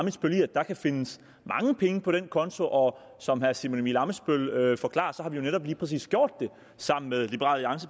ammitzbøll i at der kan findes mange penge på den konto og som herre simon emil ammitzbøll forklarer har vi jo netop lige præcis gjort det sammen med